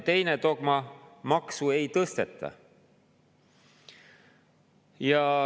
Teine dogma: maksu ei tõsteta.